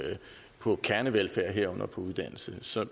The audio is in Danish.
på kernevelfærd herunder på uddannelse så